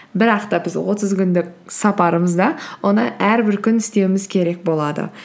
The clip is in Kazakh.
бірақ та біз отыз күндік сапарымызда оны әрбір күн істеуіміз керек болады